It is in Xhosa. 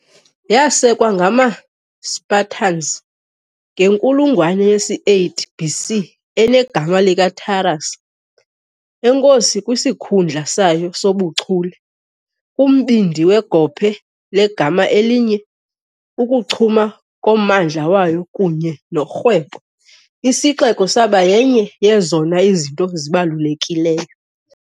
Yasekwa ngamaSpartans ngenkulungwane yesi-8 BC enegama likaTaras, enkosi kwisikhundla sayo sobuchule kumbindi wegophe legama elinye, ukuchuma kommandla wayo kunye norhwebo, isixeko saba yenye yezona zinto zibalulekileyo.